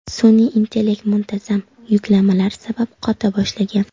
Sun’iy intellekt muntazam yuklamalar sabab qota boshlagan.